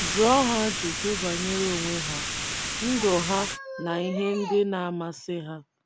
Jụọ ha ajụjụ banyere onwe ha, ndụ ha na ihe um ndị na - amasị ha.